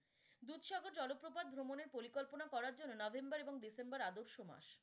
দুধসাগরে জলপ্রপাত ভ্রমণের পরিকল্পনা করার জন্য november এবং december আদর্শ মাস।